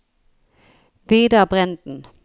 Vidar Brenden